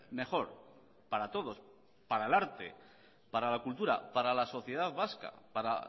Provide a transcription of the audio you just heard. mejor para todos para el arte para la cultura para la sociedad vasca para